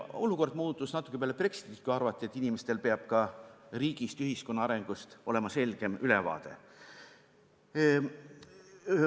Olukord muutus natuke peale Brexitit, kui arvati, et inimestel peab olema ka riigist ja ühiskonna arengust selgem ülevaade.